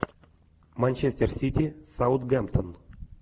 манчестер сити саутгемптон